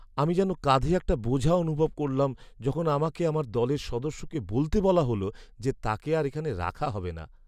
আমি যেন কাঁধে একটা বোঝা অনুভব করলাম যখন আমাকে আমার দলের সদস্যকে বলতে বলা হল যে তাকে আর এখানে রাখা হবে না।